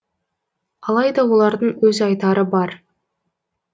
алайда олардың өз айтары бар